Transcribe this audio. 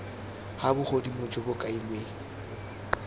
ga bogodimo jo bo kailweng